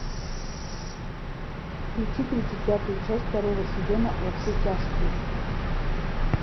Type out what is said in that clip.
включи тридцать пятую часть второго сезона во все тяжкие